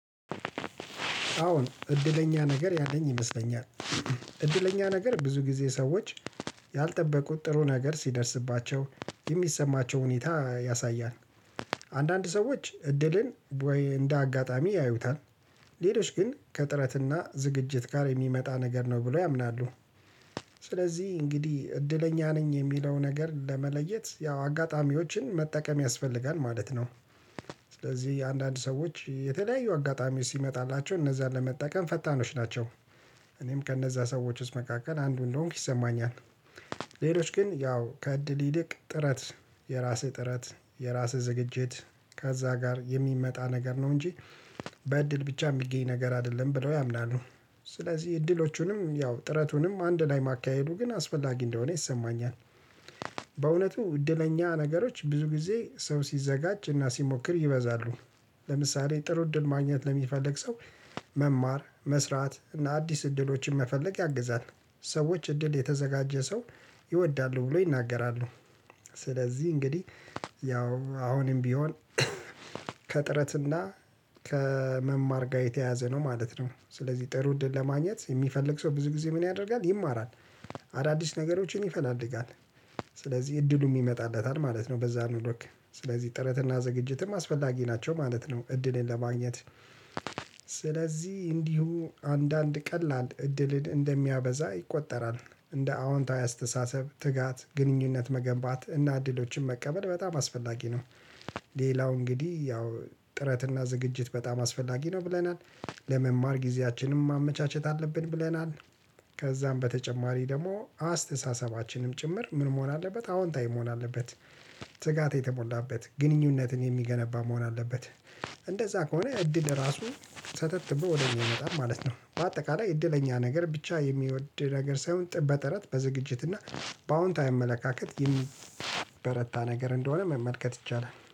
አዎን እድለኛ ነገር ያለኝ ይመስለኛል እድለኛ ነገር ብዙ ጊዜ ሰዎች ያልጠበቁት ጥሩ ነገር ሲደርስባቸው የሚሰማቸው ሁኔታ ያሳያል። አንዳንድ ሰዎች እድልን እንደ አጋጣሚ ያዩታል ሌሎች ግን ከጥረትና ዝግጅት ጋር የሚመጣ ነገር ነው ብሎ ያምናሉ። ስለዚህ እንግዲህ እድለኛ ነኝ የሚለው ነገር ለመለየት ያው አጋጣሚዎችን መጠቀም ያስፈልጋል ማለት ነው። ስለዚህ አንዳንድ ሰዎች የተለያዩ አጋጣሚዎች ሲመጣላቸው እነዛን ለመጠቀም ፈጣኖች ናቸው። እኔም ከእነዛ ሰዎች ውስጥ መካከል አንዱ እንደሆንኩ ይሰማኛል። ሌሎች ግን ያው ከእድል ይልቅ ጥረት የራስህ ጥረት የራስህ ዝግጅት ከዛ ጋር የሚመጣ ነገር ነው እንጂ በእድል ብቻ የሚገኝ ነገር አይደለም ብለው ያምናሉ። ስለዚህ እድሎቹንም ያው ጥረቱንም አንድ ላይ ማካሄዱ ግን አስፈላጊ እንደሆነ ይሰማኛል። በእውነቱ እድለኛ ነገሮች ብዙ ጊዜ ሰው ሲዘጋጅ እና ሲሞክር ይበዛሉ። ለምሳሌ ጥሩ እድል ማግኘት ለሚፈልግ ሰው መማር መስራት እና አዲስ እድሎችን መፈለግ ያግዛል። ሰዎች እድል የተዘጋጀ ሰው ይወዳሉ ብሎ ይናገራሉ። ስለዚህ እንግዲህ ያው አሁንም ቢሆን ከጥረትና ከመማር ጋር የተያያዘ ነው ማለት ነው። ስለዚህ ጥሩ እድል ለማግኘት የሚፈልግ ሰው ብዙ ጊዜ ምን ያደርጋል ይማራል? አዳዲስ ነገሮችን ይፈላልጋል። ስለዚህ እድሉም ይመጣለታል ማለት ነው። በዛኑ ልክ ስለዚህ ጥረትና ዝግጅትም አስፈላጊ ናቸው ማለት ነው። እድልን ለማግኘት ስለዚህ እንዲሁ አንዳንድ ቀላል እድልን እንደሚያበዛ ይቆጠራል። እንደ አዎንታዊ አስተሳሰብ ትጋት ግንኙነት መገንባት እና እድሎችን መቀበል በጣም አስፈላጊ ነው። ሌላው እንግዲህ ያው ጥረትና ዝግጅት በጣም አስፈላጊ ነው ብለናል። ለመማር ጊዜያችንም ማመቻቸት አለብን ብለናል። ከዛም በተጨማሪ ደግሞ አስተሳሰባችንም ጭምር ምን መሆን አለበት አዎንታዊ መሆን አለበት። ትጋት የተሞላበት ግንኙነትን የሚገነባ መሆን አለበት። እንደዛ ከሆነ እድል ራሱ ሰተት ብሎ ወደኛ ይመጣል ማለት ነው። በአጠቃላይ እድለኛ ነገር ብቻ የሚወድ ነገር ሳይሆን በጥረት በዝግጅት እና በአዎንታዊ አመለካከት የሚበረታ ነገር እንደሆነ መመልከት ይቻላል